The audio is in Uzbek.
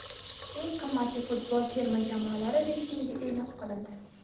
Eng qimmat futbol terma jamoalari reytingi e’lon qilindi !